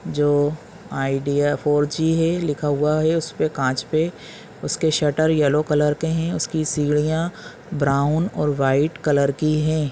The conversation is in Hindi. जो आईडिया फॉर जी है लिखा हुआ है उसपे कांच पे उसके शटर येलो कलर के है उसकी सीढ़िया ब्राउन और व्हाइट कलर की है।